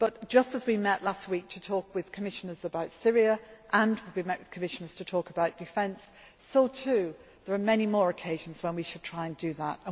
issues. Just as we met last week to talk with Commissioners about Syria and we met with Commissioners to talk about defence, so too there are many more occasions when we should try